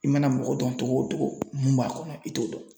I mana mɔgɔ dɔn togo o togo mun b'a kɔnɔ i t'o dɔn.